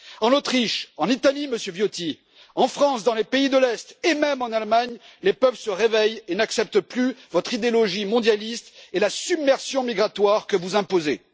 En Autriche, en Italie Monsieur Viotti en France, dans les pays de l'Est et même en Allemagne, les peuples se réveillent et n'acceptent plus votre idéologie mondialiste et la submersion migratoire que vous imposez.